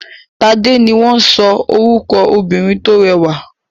Tádé ni wọ́n sọ ní orúkọ obìnrin tó rẹwà.